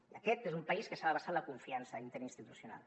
i aquest és un país que s’ha de basar en la confiança interinstitucional